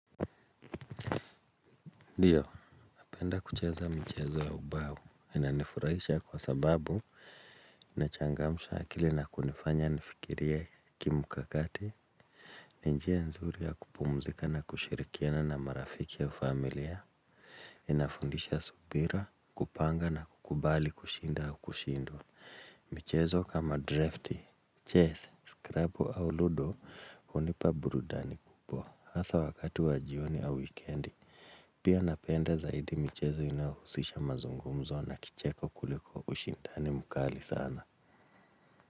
Ndiyo, napenda kucheza mchezo ya ubao, inanifurahisha kwa sababu, inachangamsha akili na kunifanya nifikiri kimkakati, ni njia nzuri ya kupumzika na kushirikiana na marafiki ya familia, inafundisha subira, kupanga na kukubali kushinda au kushindwa. Michezo kama drafti, chess, scrubbo au ludo, hunipa burudani kubwa. Hasa wakati wa jioni ya weekend, pia napenda zaidi michezo inahusisha mazungumzo na kicheko kuliko ushindani mkali sana.